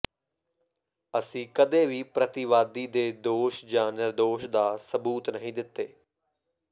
ਅਸੀਂ ਕਦੇ ਵੀ ਪ੍ਰਤੀਵਾਦੀ ਦੇ ਦੋਸ਼ ਜਾਂ ਨਿਰਦੋਸ਼ ਦਾ ਸਬੂਤ ਨਹੀਂ ਦਿੱਤੇ